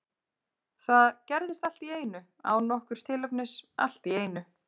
Það gerðist allt í einu, án nokkurs tilefnis, allt í einu.